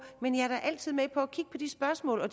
men jeg er da altid med på at kigge på de spørgsmål og